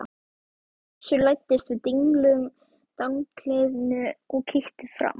Össur læddist að dinglumdanglinu og kíkti fram.